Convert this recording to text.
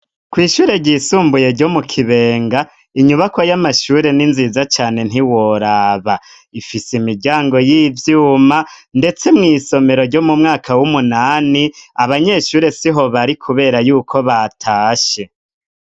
Kw'ishure ryisumbuye ryo mu Kibenga inyubakwa y'amashure ni nziza cane ntiworaba . Ifise imiryango y'ivyuma, ndetse mw' isomero ryo mu mwaka w'umunani abanyeshure si ho bari kubera yuko batashe.